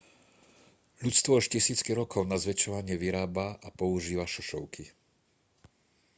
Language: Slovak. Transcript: ľudstvo už tisícky rokov na zväčšovanie vyrába a používa šošovky